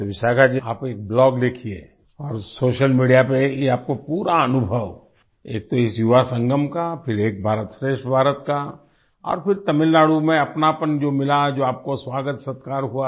तो विशाखा जी आप एक ब्लॉग लिखिए और सोशल मीडिया पर ये आपको पूरा अनुभव एक तो इस युवा संगम का फिर एक भारतश्रेष्ठ भारत का और फिर तमिलनाडु में अपनापन जो मिला जो आपको स्वागतसत्कार हुआ